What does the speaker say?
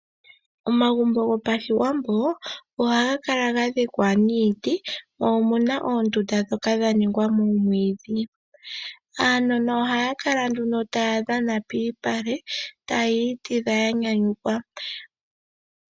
Omagumbo gopashiwambo ohaga kala ga dhikwa niiti, mo omuna oondunda ndhoka dha ningwa momwiidhi. Aanona ohaya kala nduno taya dhana piipale taya itidha ya nyanyukwa.